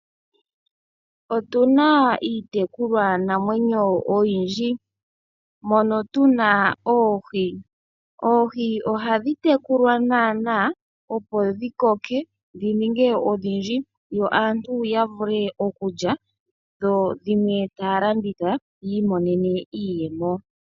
Otuna iitekulwa namwenyo oyindji mono tuna oohi. Oohi ohadhi tekulwa nana, opo dhi koke dhi ninge odhindji aantu ya vule okulya dhi dhimwe taya landitha yi imone iiyemo.